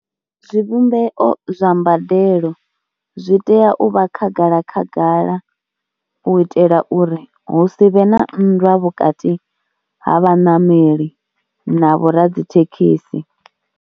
Zwivhumbeo zwa mbadelo zwi tea u vha khagala khagala u itela uri hu si vhe na nndwa vhukati ha vhaṋameli na vhoradzithekhisi.